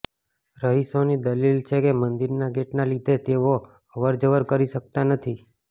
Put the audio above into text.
રહીશોની દલીલ છે કે મંદિરના ગેટના લીધે તેઓ અવરજવર કરી શકતા નથી